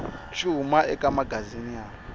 xi huma eka magazini ya